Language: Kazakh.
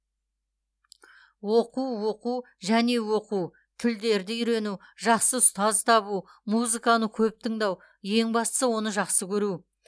оқу оқу және оқу тілдерді үйрену жақсы ұстаз табу музыканы көп тыңдау ең бастысы оны жақсы көру